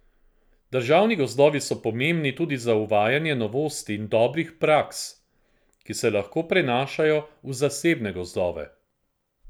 Državni gozdovi so pomembni tudi za uvajanje novosti in dobrih praks, ki se lahko prenašajo v zasebne gozdove.